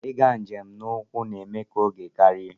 Ịga njem n'ụkwụ na-ewe oge karịa.